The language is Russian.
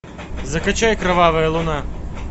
закачай кровавая луна